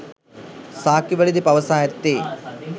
සාක්කිවලදී පවසා ඇත්තේ